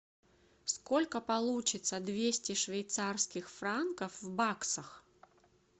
сколько получится двести швейцарских франков в баксах